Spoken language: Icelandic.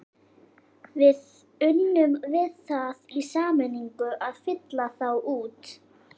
Við unnum við það í sameiningu að fylla þá út.